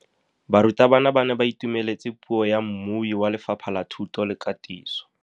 Barutabana ba ne ba itumeletse puô ya mmui wa Lefapha la Thuto le Katiso.